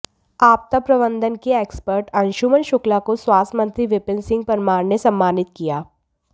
आपदा प्रबंधन के एक्सपर्ट अंशुमन शुक्ला को स्वास्थ्य मंत्री विपिन सिंह परमार ने सम्मानित किया